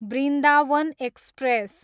Vrindavan express